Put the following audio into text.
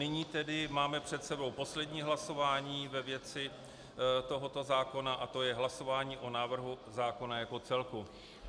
Nyní tedy máme před sebou poslední hlasování ve věci tohoto zákona, a to je hlasování o návrhu zákona jako celku.